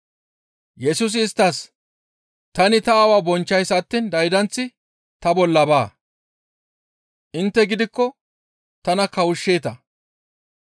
Yesusi isttas, «Tani ta Aawaa bonchchays attiin daydanththi ta bolla baa. Intte gidikko tana kawushsheeta.